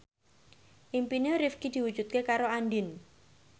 impine Rifqi diwujudke karo Andien